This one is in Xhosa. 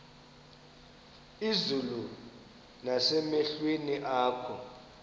izulu nasemehlweni akho